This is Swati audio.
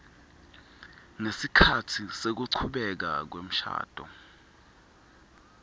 ngesikhatsi sekuchubeka kwemshado